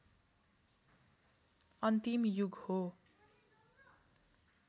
अन्तिम युग हो